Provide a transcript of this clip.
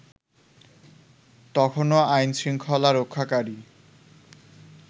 তখনও আইনশৃঙ্খলা রক্ষাকারী